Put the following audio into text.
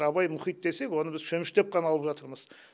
абай мұхит десек оны біз шөміштеп қана алып жатырмыз